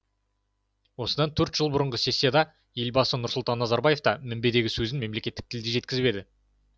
осыдан төрт жыл бұрынғы сессияда елбасы нұрсұлтан назарбаев та мінбердегі сөзін мемлекеттік тілде жеткізіп еді